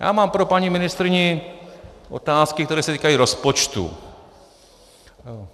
Já mám pro paní ministryni otázky, které se týkají rozpočtu.